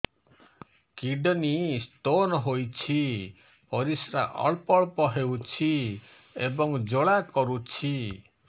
kidney stone ହୋଇଛି ପରିସ୍ରା ଅଳ୍ପ ଅଳ୍ପ ହେଉଛି ଏବଂ ଜ୍ୱାଳା କରୁଛି